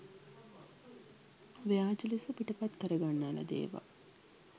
ව්‍යාජ ලෙස පිටපත් කරගන්නා ලද ඒවා